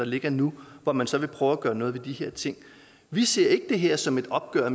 ligger nu hvor man så vil prøve at gøre noget ved de her ting vi ser ikke det her som et opgør